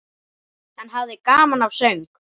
Hann hafði gaman af söng.